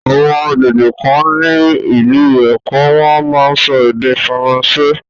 Àwọn àgbègbè kan ní ìlú Èkó wọ́n á máa sọ Ède Faransé.